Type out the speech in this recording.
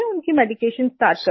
उनकी medication start कर दी